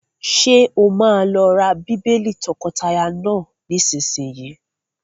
Ṣé o máa lọ ra bíbélì àwọn tọkọtaya náà nísìsiyìí?